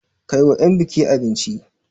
Kai wa 'yan buki abinci!